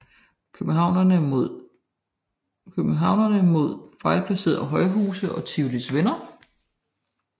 Københavnere mod fejlplacerede højhuse og Tivolis venner